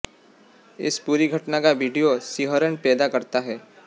इस पूरी घटना का वीडियो सिहरन पैदा करता है